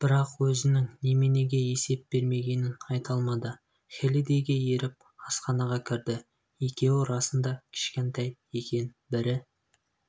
бірақ өзінің неменеге есеп бермегенін айта алмады хеллидэйге еріп асханаға кірді екеуі расында кішкентай екен бірі